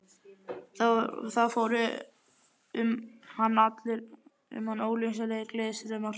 Það fóru um hann ólýsanlegir gleðistraumar.